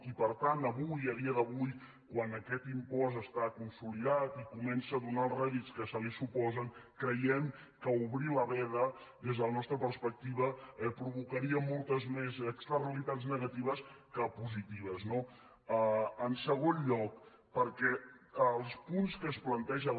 i per tant a dia d’avui quan aquest impost està consolidat i comença a donar els rèdits que se li suposen creiem que obrir la veda des de la nostra perspectiva provocaria moltes més externalitats negatives que positives no en segon lloc perquè els punts que es planteja